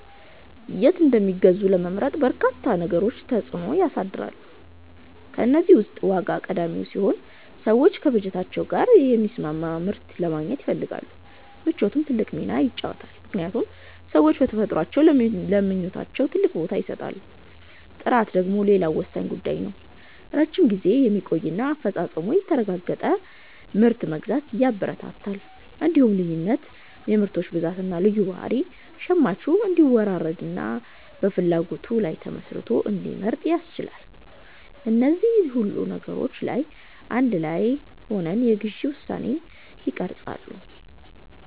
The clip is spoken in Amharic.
የት እንደሚገዙ ለመምረጥ በርካታ ነገሮች ተጽዕኖ ያሳድራሉ። ከእነዚህ ውስጥ ዋጋ ቀዳሚው ሲሆን፣ ሰዎች ከበጀታቸው ጋር የሚስማማ ምርት ለማግኘት ይፈልጋሉ። ምቾትም ትልቅ ሚና ይጫወታልምክንያቱም ሰዎች በተፈጥሯችን ለምቾታችን ትልቅ ቦታ እንሰጣለን። ጥራት ደግሞ ሌላው ወሳኝ ጉዳይ ነው፤ ረጅም ጊዜ የሚቆይና አፈጻጸሙ የተረጋገጠ ምርት መግዛት ያበረታታል። እንዲሁም ልዩነት (የምርቶች ብዛትና ልዩ ባህሪ) ሸማቹ እንዲወዳደርና በፍላጎቱ ላይ ተመስርቶ እንዲመርጥ ያስችላል። እነዚህ ሁሉ ነገሮች አንድ ላይ ሆነው የግዢ ውሳኔን ይቀርጻሉ።